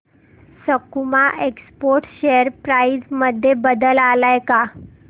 सकुमा exports share price मध्ये बदल आलाय का